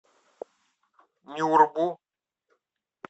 нюрбу